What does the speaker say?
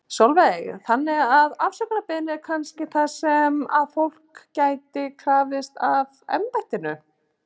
Sólveig: Þannig að afsökunarbeiðni er kannski það sem að þetta fólk getur krafist af embættinu?